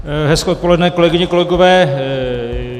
Hezké odpoledne, kolegyně, kolegové.